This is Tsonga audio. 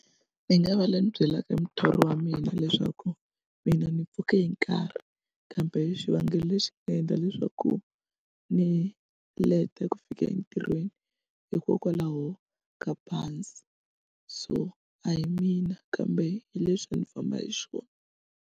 Ni nga va la ni byelaka muthori wa mina leswaku mina ni pfuke hi nkarhi kambe xivangelo lexi endla leswaku ni leta ku fika entirhweni hikokwalaho ka bazi so a hi mina kambe hi lexi a ndzi famba hi xona.